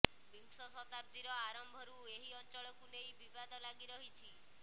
ବିଂଶ ଶତାବ୍ଦୀର ଆରମ୍ଭରୁ ଏଇ ଅଞ୍ଚଳକୁ ନେଇ ବିବାଦ ଲାଗି ରହିଛି